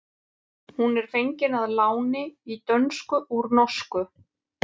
Hún er fengin að láni í dönsku úr norsku.